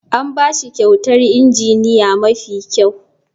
An ba shi kyautar injiniya mafi kyau.